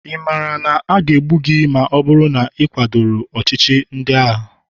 ị maara na aga egbu gị ma ọ bụrụ na ị kwadoro ọchịchị ndị agha?